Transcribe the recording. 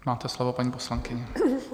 Máte slovo, paní poslankyně.